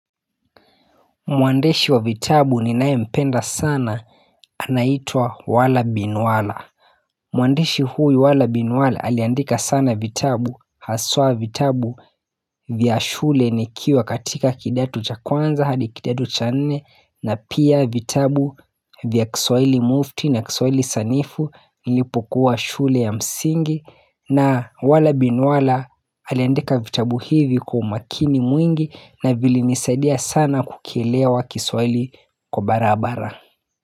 Mwandishi wa vitabu ninayempenda sana anaitwa wala bin wala Mwandishi huyu wala bin wala aliandika sana vitabu Haswa vitabu vya shule nikiwa katika kidato cha kwanza hadi kidato cha nne na pia vitabu vya kiswaili mufti na kiswaili sanifu nilipokuwa shule ya msingi na wala bin wala aliandika vitabu hivi kwa umakini mwingi na vilinisadia sana kukielewa kiswahili kwa barabara.